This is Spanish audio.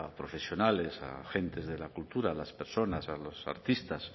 profesionales a gentes de la cultura a las personas a los artistas